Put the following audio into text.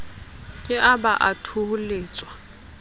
ke a ba a thoholetswa